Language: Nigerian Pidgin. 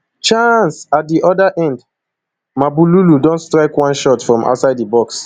chaaanceat di oda end mabululu don strike one shot from outside di box